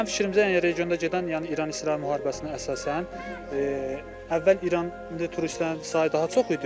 Mənim fikrimcə, yəni regionda gedən, yəni İran-İsrail müharibəsinə əsasən, əvvəl İran turistlərinin sayı daha çox idi.